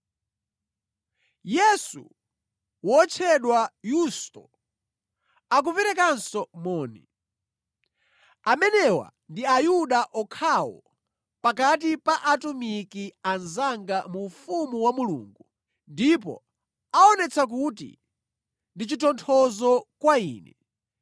Yesu wotchedwa Yusto, akuperekanso moni. Amenewa ndi Ayuda okhawo pakati pa atumiki anzanga mu ufumu wa Mulungu, ndipo aonetsa kuti ndi chitonthozo kwa ine.